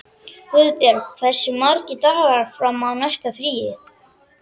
Guðborg, hversu margir dagar fram að næsta fríi?